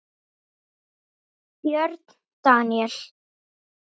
Björn Daníel?